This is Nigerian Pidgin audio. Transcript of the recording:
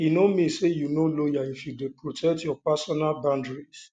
e no mean say you no loyal if you dey protect your personal boundaries